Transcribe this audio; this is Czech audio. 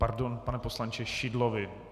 Pardon, pane poslanče - Šidlovi.